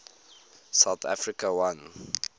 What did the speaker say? south africa won